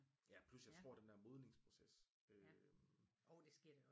Ja plus jeg tror den der modningsproces øh